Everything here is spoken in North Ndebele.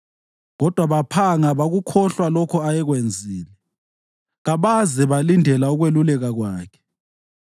Kodwa baphanga bakukhohlwa lokho ayekwenzile kabaze balindela ukweluleka kwakhe.